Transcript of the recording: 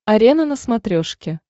арена на смотрешке